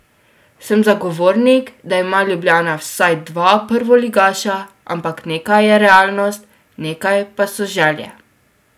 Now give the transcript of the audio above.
Sem zagovornik, da ima Ljubljana vsaj dva prvoligaša, ampak nekaj je realnost, nekaj pa so želje.